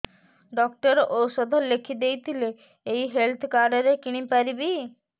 doctor ଔଷଧ ଲେଖିଦେଇଥିଲେ ଏଇ ହେଲ୍ଥ କାର୍ଡ ରେ କିଣିପାରିବି